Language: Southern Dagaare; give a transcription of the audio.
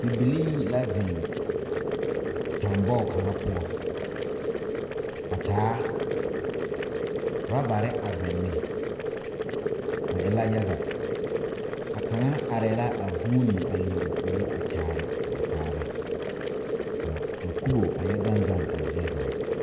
Bibilee la zeŋ tanbogi kaŋ poɔ a taa rubbere a zeŋ ne ba e la yaga a kaŋa are la a vuune a leɛ o puori kyaare a o taa ba kaa ka kobo a yɛ gaŋ gaŋ a zie zaa.